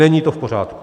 Není to v pořádku.